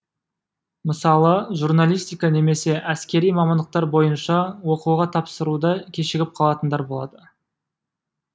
мысалы журналистика немесе әскери мамандықтар бойынша оқуға тапсыруда кешігіп қалатындар болады